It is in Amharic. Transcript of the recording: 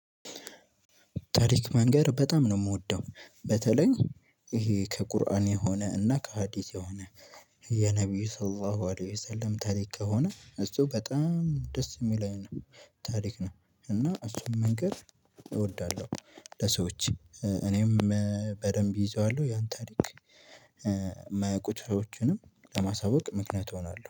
ታሪክ ምንገር በጣም ነው የምወደው በተለይ ይሄ ከቁርአን የሆነ እና ከሀዲስ የሆነ የነብዩ ሰለላው አለይው የሰለም ታሪክ ከሆነ እሱ በጣም ደስ የሚለኝ ነው። ታሪክ ነው እና እሱን መንገር እወዳለሁ። ለሰዎች እኔም በደንብ እይዘዋለሁ ያን ታሪክ። ብዙሰወችንም ለማሳወቅ ምክንያት እሆናለሁ